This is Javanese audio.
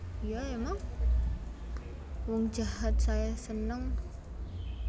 Wong jahat saya seneng